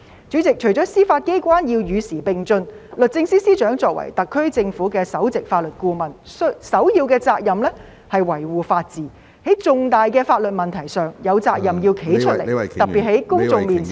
主席，除了司法機關要與時並進外，律政司司長作為特區政府的首席法律顧問，首要的責任是維護法治，在重大的法律問題上有責任站出來，特別是在公眾面前......